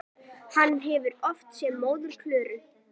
Hann hefur oft séð móður Klöru.